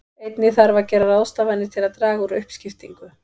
Einnig þarf að gera ráðstafanir til að draga úr uppskiptingu.